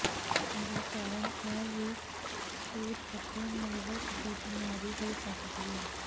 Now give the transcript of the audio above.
ਦਾ ਕਾਰਨ ਇਹ ਵੀ ਛੂਤ ਅਤੇ ਨਰਵਸ ਦੀ ਬਿਮਾਰੀ ਹੋ ਸਕਦੀ ਹੈ